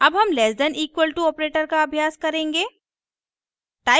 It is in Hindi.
अब हम less than equal to operator का अभ्यास करेंगे